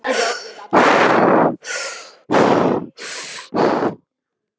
Hann heitir Tryggvi Gunnarsson, sá eini á landinu, sagði Benediktsson.